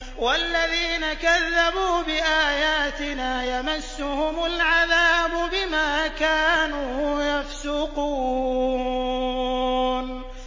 وَالَّذِينَ كَذَّبُوا بِآيَاتِنَا يَمَسُّهُمُ الْعَذَابُ بِمَا كَانُوا يَفْسُقُونَ